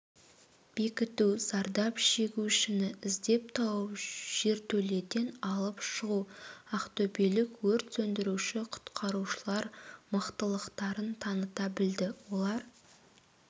бекіту зардап шегушіні іздеп тауып жертөледен алып шығу ақтөбелік өрт сөндіруші-құтқарушылар мықтылықтарын таныта білді олар